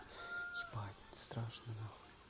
спать страшно нахуй